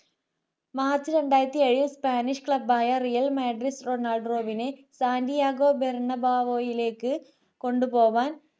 March രണ്ടായിരത്തി ഏഴു spanish club ആയ റിയൽ മാൻഡ്രിസ് റൊണാൾഡോയെ സാൻഡയാഗോ ബാർണബാവോയിലേക്ക് കൊണ്ടുപോകാൻ